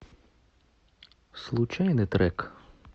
случайный трек